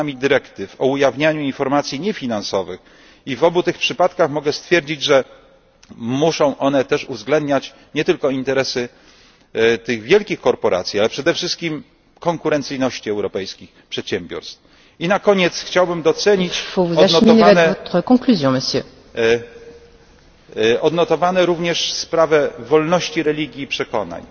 zmianami dyrektyw o ujawnianiu informacji niefinansowych i w obu tych przypadkach mogę stwierdzić, że muszą one też uwzględniać nie tylko interesy tych wielkich korporacji, ale przede wszystkim konkurencyjność europejskich przedsiębiorstw. Na koniec chciałbym docenić odnotowane również sprawy wolności religii i przekonań.